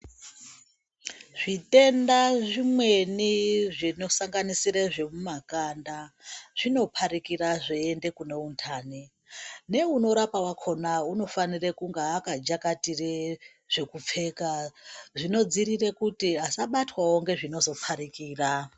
Zvitenda zvimweni zvinosanganisira zvemumakanda zvinoparikira zvaiende kune undani neunorapane wakona unofana kunge akajakatire zvekupfeja zvinodziirire kuti asabatwewo ngezvinozo parikira.